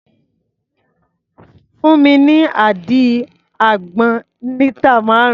Fún mi ní àdí àgbọn lítà márùn-ún.